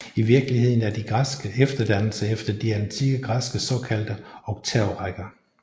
I virkeligheden er de efterdannelser efter de antikke græske såkaldte oktavrækker